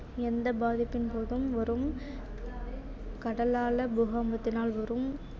எந்த பாதிப்பின் போதும் வரும் கடலாழ பூகம்பத்தினால் வரும்